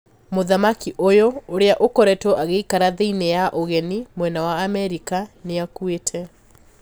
Mũthamaki ũyũ, ũria ũkoretwo agiikara thiini ya ũgeni, mwena wa Amerika, niakuiite.